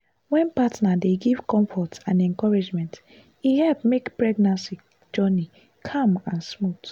wen partner dey give comfort and encouragement e help make pregnancy journey calm and smooth.